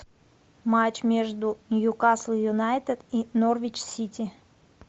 матч между ньюкасл юнайтед и норвич сити